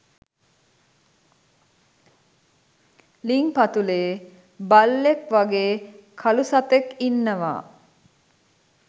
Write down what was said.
ළිං පතුලේ බල්ලෙක් වගේ කළු සතෙක් ඉන්නවා